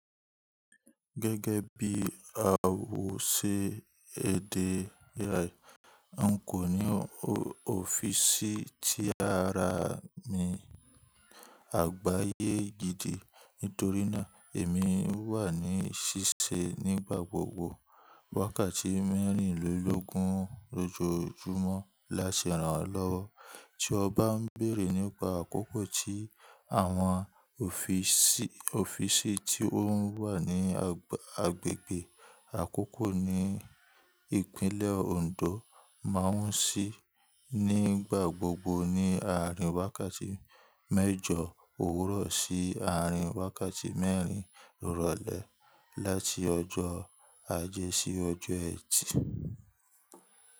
Gẹ́gẹ́ bí a wò ṣe ede rẹ̀, n kò ní ọ́fíìsì tí á rà mí àgbáyé gidi nítorí náà èmi wà ní ṣíṣe nígbà gbogbo wákàtí mẹ́rìnlélógún lójoójúmọ́ láṣẹ rànlọ́wọ́. Tí ọ bá n béèrè nípa àkókò tí àwọn ọ́fíìsì tó n wà ní agbègbè àkókò ni ìpínlẹ̀ Oǹdó má n ṣí, nígbà gbogbo ni àárín wákàtí méjọ òwúrọ̀ sí àárín wákàtí mẹ́rin ìrọ̀lẹ́ láti ọjọ́ ajé sí ọjọ́ ẹtì.